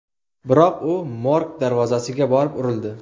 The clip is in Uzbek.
Biroq u morg darvozasiga borib urildi.